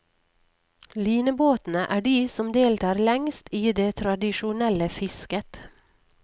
Linebåtene er de som deltar lengst i det tradisjonelle fisket.